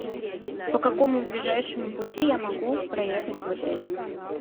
по какому ближайшему пути я могу проехать в отель